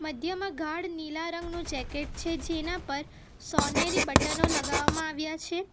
મધ્યમાં ગાઢ નીલા રંગનું જેકેટ છે જેના પર સૉનેરી બટનો લગાવવામાં આવ્યા છે.